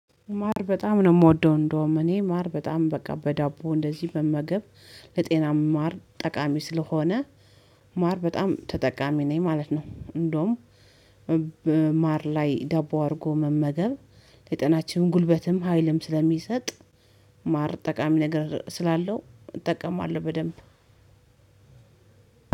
ማር በጣም ነው የምወደው እንደውም እኔ ማር በጣም በቃ በዳቦ እንደዚህ መመገብ ለጤና ማር ጠቃሚ ስለሆነ ማር በጣም ተጠቃሚ ነኝ ማለት ነው እንደውም ማር ላይ ዳቦ አርጎ መመገብ የጤናችንም ጉልበትም ሀይልም ስለሚሰጥ ማር ጠቃሚ ነገር ስላለው እጠቀማለው በደንብ።